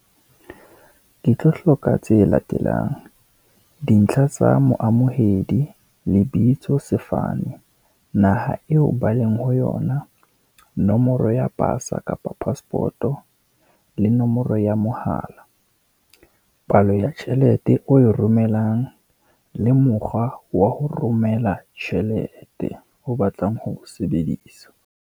Ke tlo hloka tse latelang, dintlha tsa moamohedi, lebitso sefane, naha eo ba leng ho yona. Nomoro ya pasa kapa passport-o, le nomoro ya mohala. Palo ya tjhelete o e romellang, le mokgwa wa ho romela tjhelete, o batlang ho o sebedisa.